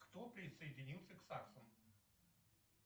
кто присоединился к саксам